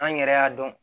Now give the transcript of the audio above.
An yɛrɛ y'a dɔn